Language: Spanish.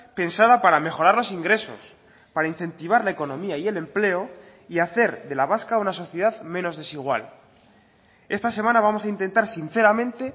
pensada para mejorar los ingresos para incentivar la economía y el empleo y hacer de la vasca una sociedad menos desigual esta semana vamos a intentar sinceramente